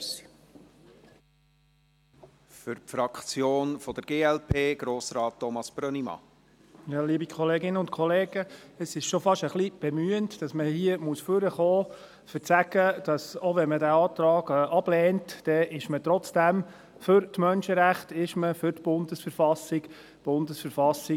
Es ist fast schon ein wenig bemühend, hier nach vorne kommen zu müssen, um zu sagen, dass man, auch wenn man den Antrag ablehnt, trotzdem für die Menschenrechte, für die Bundesverfassung der Schweizerischen Eidgenossenschaft (BV) ist.